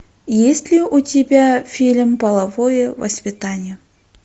есть ли у тебя фильм половое воспитание